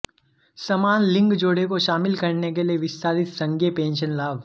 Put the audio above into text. समान लिंग जोड़े को शामिल करने के लिए विस्तारित संघीय पेंशन लाभ